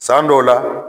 San dɔw la